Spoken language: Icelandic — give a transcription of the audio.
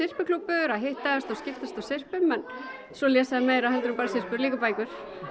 syrpuklúbbur að hittast og skiptast á syrpum en svo lesa þeir líka meira en bara syrpur líka bækur